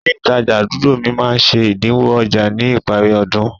Ilé ìtajà àdúgbò mi máá ń ṣe ẹ̀dínwó ọjà ní ìparí ọdún